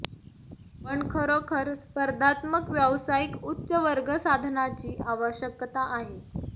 पण खरोखर स्पर्धात्मक व्यावसायिक उच्च वर्ग साधनाची आवश्यकता आहे